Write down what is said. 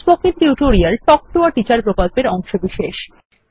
spoken tutorial talk to a teacher প্রকল্পের অংশবিশেষ